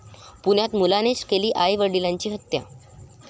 पुण्यात मुलानेच केली आई वडिलांची हत्या